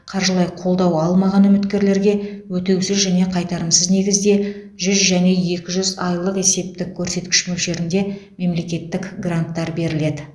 қаржылай қолдау алмаған үміткерлерге өтеусіз және қайтарымсыз негізде жүз және екі жүз айлық есептік көрсеткіш мөлшерінде мемлекеттік гранттар беріледі